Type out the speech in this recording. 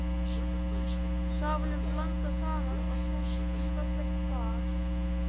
Safanum blandað saman og hellt í fallegt glas.